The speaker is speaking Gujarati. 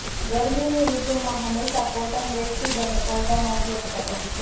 ગરમીની ઋતુમાં હંમેશા કોટન બેડશીટ અને પડદાનો ઉપયોગ કરો